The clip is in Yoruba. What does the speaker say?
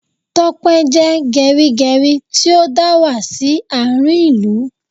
Tope jẹ́ gerigeri tí ó dà wá sí àárín ìlú